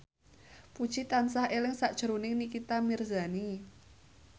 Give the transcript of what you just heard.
Puji tansah eling sakjroning Nikita Mirzani